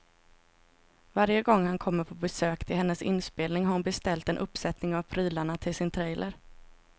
Varje gång han kommer på besök till hennes inspelning har hon beställt en uppsättning av prylarna till sin trailer.